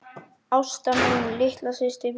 Ásta mín, litla systir mín.